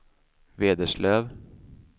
Vederslöv